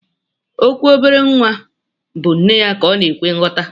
Okwu obere nwa bu nneya ka ọnaka ekwe nyọta.